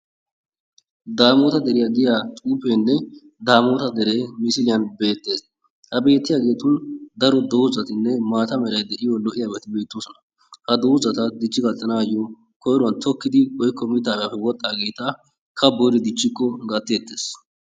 daamoota deriya giyaa xuufeenne daamoota dere missiliyan beetees. ha beettiyabati daro doozatinne maata mala lo'iyaabati beetoosona. ha doozata dichchi gattanaayo koyruwan tokkidi dichchikko woykko mitaappe wodhaageeta kaboyidi dichikko gateettees.